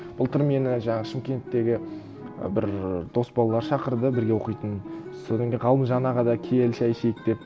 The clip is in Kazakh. былтыр мені жаңағы шымкенттегі і бір дос балалар шақырды бірге оқитын содан кейін ғалымжан аға да кел шай ішейік деп